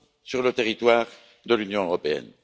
sur le territoire de l'Union européenne.